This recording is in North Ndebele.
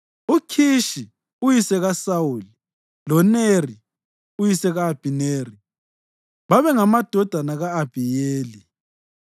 UKhishi uyise kaSawuli, loNeri uyise ka-Abhineri babengamadodana ka-Abhiyeli.